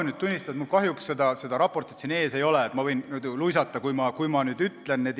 Ma pean tunnistama, et mul kahjuks seda raportit siin ees ei ole, ma võin luisata, kui ma nüüd seda ütlen.